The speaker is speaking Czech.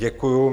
Děkuju.